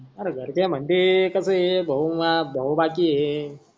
अरे घरचे मन्ते कस आहे भाऊ म्या भाऊ बाकी आहे.